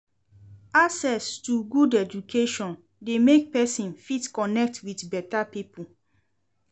Access to good education de make persin fit connect with better pipo